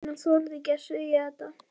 En hann þorði ekki að segja þetta.